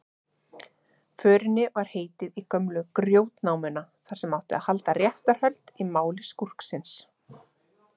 Förinni var heitið í gömlu GRJÓTNÁMUNA, þar sem átti að halda réttarhöld í máli skúrksins.